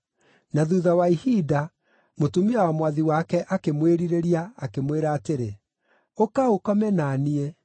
na thuutha wa ihinda, mũtumia wa mwathi wake akĩmwĩrirĩria, akĩmwĩra atĩrĩ, “Ũka ũkome na niĩ!”